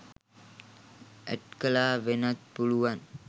ඇට් කළා වෙන්නත් පුළුවන්